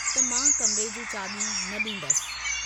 त मां कमरे जूं चावि॒यूं न डींदसि।